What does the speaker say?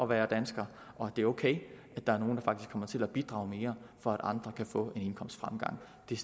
være dansker og at det er ok at der er nogle der faktisk kommer til at bidrage mere for at andre kan få en indkomstfremgang det